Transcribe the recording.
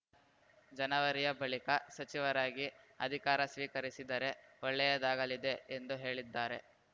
ಜನವರಿಯ ಬಳಿಕ ಸಚಿವರಾಗಿ ಅಧಿಕಾರ ಸ್ವೀಕರಿಸಿದರೆ ಒಳ್ಳೆಯದಾಗಲಿದೆ ಎಂದು ಹೇಳಿದ್ದಾರೆ